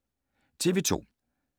TV 2